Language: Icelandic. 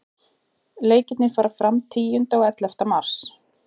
Leikirnir fara fram tíunda og ellefta mars.